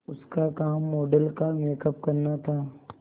उसका काम मॉडल का मेकअप करना था